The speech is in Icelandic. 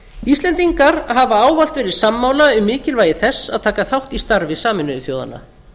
íslendingar hafa ávallt verið sammála um mikilvægi þess að taka þátt í starfi sameinuðu þjóðanna